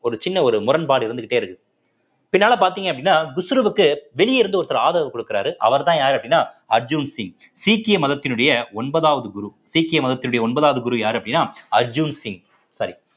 ஒரு சின்ன ஒரு முரண்பாடு இருந்துக்கிட்டே இருக்கு பின்னால பார்த்தீங்க அப்படின்னா குஷ்ருவுக்கு வெளியே இருந்த ஒருத்தர் ஆதரவு கொடுக்கிறாரு அவர்தான் யாரு அப்படின்னா அர்ஜுன் சிங் சீக்கிய மதத்தினுடைய ஒன்பதாவது குரு சீக்கிய மதத்தினுடைய ஒன்பதாவது குரு யாரு அப்படின்னா அர்ஜுன் சிங் சரி